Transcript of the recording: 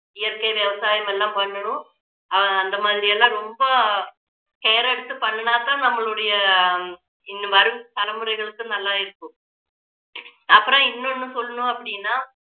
இயற்கை விவசாயம் எல்லாம் பண்ணணும் அஹ் அந்த மாதிரி எல்லாம் ரொம்ப care எடுத்து பண்ணுனா தான் நம்மளுடைய வரும் தலைமுறைகளுக்கு நல்லா இருக்கும் அப்புறம் இன்னொன்னு சொல்லணும் அப்படின்னா